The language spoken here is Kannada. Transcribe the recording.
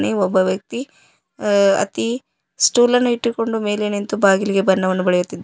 ಒಬ್ಬ ವ್ಯಕ್ತಿ ಅ ಅತೀ ಸ್ಟುಲ್ ಅನ್ನು ಇಟ್ಟುಕೊಂಡು ಮೇಲೆ ನಿಂತು ಬಾಗಿಲಿಗೆ ಬಣ್ಣವನ್ನು ಬಳೆಯುತ್ತಿದ್ --